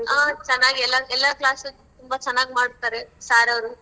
ಆ ಚೆನ್ನಾಗ್ ಎಲ್ಲಾ~ ಎಲ್ಲಾ class ತುಂಬಾ ಚೆನ್ನಾಗ್ ಮಾಡ್ತಾರೆ ಸಾರೋವ್ರು.